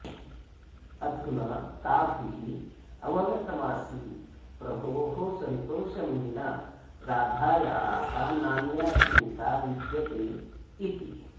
अधुना ताभिः अवगतमासीत् प्रभोः सन्तोषं विना राधायाः नान्या चिन्ता विद्यते इति